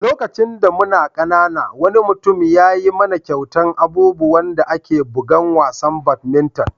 Lokacin da muna ƙanana, wani mutum ya yi mana kyautan abubuwan da ake bugan wasan badminton.